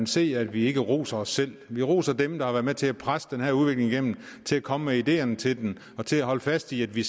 se at vi ikke roser os selv vi roser dem der har været med til at presse den her udvikling igennem til at komme med ideerne til den og til at holde fast i at vi